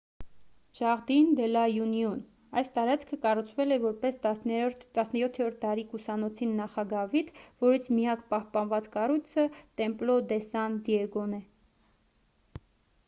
jardín de la unión. այս տարածքը կառուցվել է որպես 17-րդ դարի կուսանոցի նախագավիթ որից միակ պահպանված կառույցը templo de san diego-ն է: